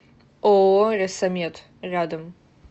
ооо ресо мед рядом